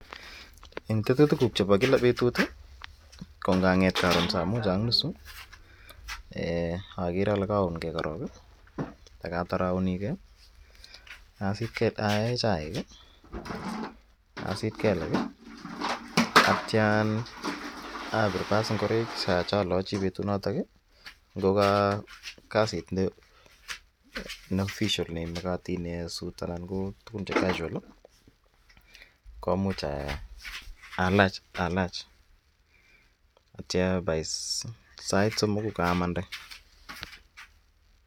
En tetutikuk chebo kila betut ko nganget koron saa moja ak nusu okere olee koun kee korong ak akatar aunikee ayee chaik, asit kelek akityo abir baas ing'oroik cholochi betunotok ng'o ko kasit nee official nemokotin en suut anan ko tukun che casual komuch alach akityo bai sait somok kokaamande.